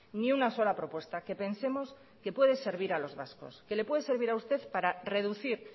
ni una sola propuesta que pensemos que puede servir a los vascos que le puede servir a usted para reducir